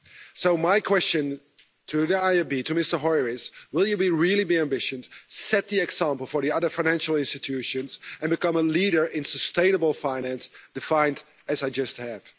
So, my question to Mr Hoyer is will you be really ambitious, set the example for the other financial institutions and become a leader in sustainable finance, defined as I just have?